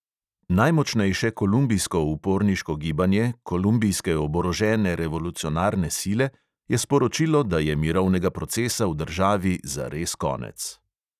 Najmočnejše kolumbijsko uporniško gibanje, kolumbijske oborožene revolucionarne sile, je sporočilo, da je mirovnega procesa v državi zares konec.